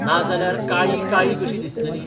नाजाल्यार काळी काळी कशी दिसतली?